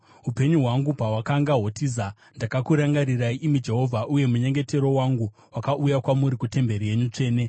“Upenyu hwangu pahwakanga hwotiza, ndakakurangarirai, imi Jehovha, uye munyengetero wangu wakauya kwamuri, kutemberi yenyu tsvene.